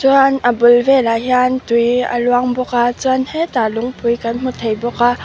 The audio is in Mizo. chuan a bul velah hian tui a luang bawk a chuan hetah lungpui kan hmu thei bawk a.